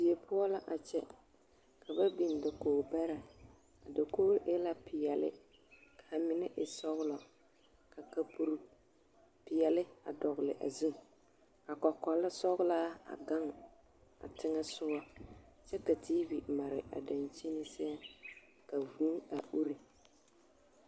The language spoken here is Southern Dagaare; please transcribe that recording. Die poɔ la a kyɛ ka ba biŋ dakogi bɛrɛ, a dakogi e la peɛle k'a mine e sɔgelɔ ka kpapuro peɛle a dɔgele a zu ka kɔkɔle sɔgelaa a gaŋ teŋɛ a sogɔ kyɛ ka TV mare a dankyini seɛ ka vūū a uri.